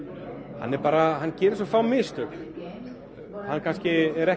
sinn hann gerir svo fá mistök hann er ekki